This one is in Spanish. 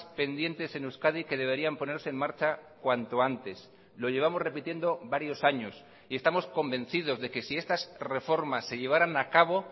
pendientes en euskadi que deberían ponerse en marcha cuanto antes lo llevamos repitiendo varios años y estamos convencidos de que si estas reformas se llevaran a cabo